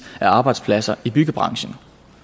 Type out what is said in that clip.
af arbejdspladser i byggebranchen